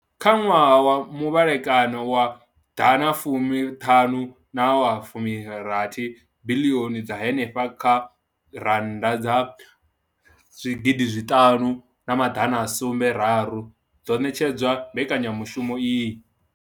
Kha ṅwaha wa muvhalekano wa ḓana fumi ṱhanu na wa fumi rathi biḽioni dza henefha kha randa dza zwigidi zwi ṱanu na maḓana a sumbe raru dzo ṋetshedzwa mbekanya mushumo iyi.